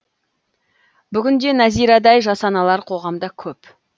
бүгін де нәзирадай жас аналар қоғамда көп